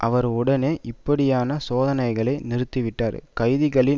அவர் உடனேயே இப்படியான சோதனைகளை நிறுத்திவிட்டார் கைதிகளின்